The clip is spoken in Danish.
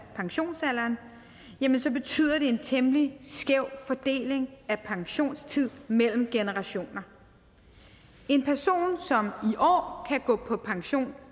pensionsalderen jamen så betyder det en temmelig skæv fordeling af pensionstid mellem generationer en person som i år kan gå på pension